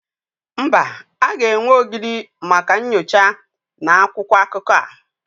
Mba, a ga-enwe ogidi maka nyocha na akwụkwọ akụkọ a.